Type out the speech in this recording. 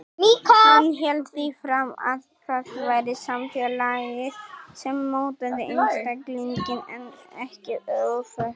Hann hélt því fram að það væri samfélagið sem mótaði einstaklinginn en ekki öfugt.